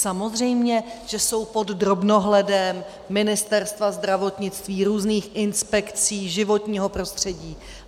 Samozřejmě že jsou pod drobnohledem Ministerstva zdravotnictví, různých inspekcí životního prostředí.